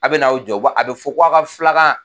A bɛn'aw jɔ a bɛ fɔ ko a ka filakan